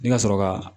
I ka sɔrɔ ka